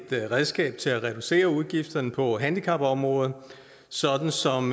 redskab til at reducere udgifterne på handicapområdet sådan som